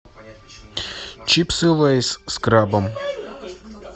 чипсы лейс с крабом